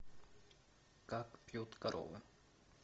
как пьют коровы